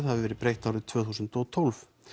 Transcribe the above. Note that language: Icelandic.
hafi verið breytt árið tvö þúsund og tólf